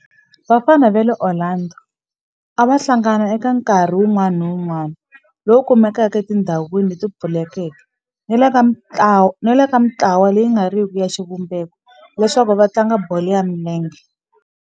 Vafana va le Orlando a va hlangana eka nkarhi wun'wana ni wun'wana lowu kumekaka etindhawini leti pfulekeke ni le ka mintlawa leyi nga riki ya xivumbeko leswaku va tlanga bolo ya milenge.